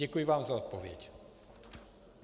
Děkuji vám za odpověď.